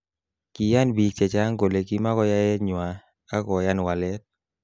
Kiyan bik chechang kole kimakoyaet nywa ak koyan walet.